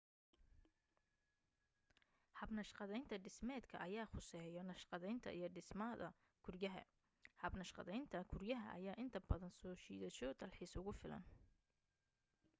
hab naqshadaynta dhismeedka ayaa khuseeyo naqshadaynta iyo dhismada guriyaha hab naqshadaynta guriyaha ayaa inta badan soo jiidasho dalxiis ugu filan